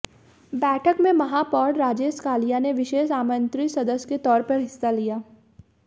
बैठक में महापौर राजेश कालिया ने विशेष आमंत्रित सदस्य के तौर पर हिस्सा लिया